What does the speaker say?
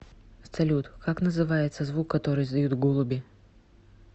салют как называется звук который издают голуби